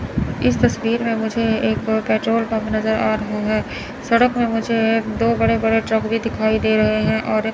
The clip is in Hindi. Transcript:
इस तस्वीर में मुझे एक पेट्रोल पंप नजर आ रहा है सड़क में मुझे एक दो बड़े बड़े ट्रक भी दिखाई दे रहे हैं और--